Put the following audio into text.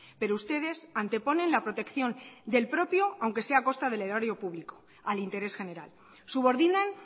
pero ustedes anteponen la protección del propio aunque sea a costa del erario público al interés general subordinan